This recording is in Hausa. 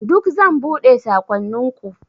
Duk zan buɗe saƙonninku.